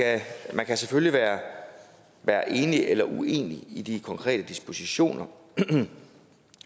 man kan selvfølgelig være enig eller uenig i de konkrete dispositioner men